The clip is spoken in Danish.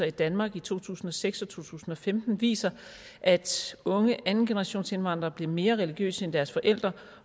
i danmark i to tusind og seks og to tusind og femten viser at unge andengenerationsindvandrere bliver mere religiøse end deres forældre